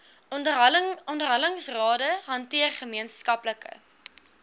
onderhandelingsrade hanteer gemeenskaplike